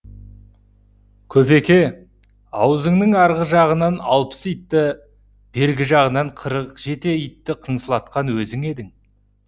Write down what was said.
көпеке аузыңның арғы жағынан алпыс итті бергі жағынан қырық итті қыңсылатқан өзің едің